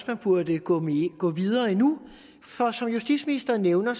man burde gå gå videre endnu for som justitsministeren nævner